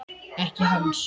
Ekki hans.